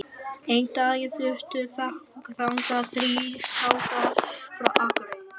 Einn daginn fluttu þangað þrír strákar frá Akureyri.